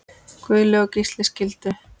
Guðlaug og Gísli skildu.